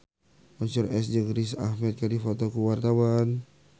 Mansyur S jeung Riz Ahmed keur dipoto ku wartawan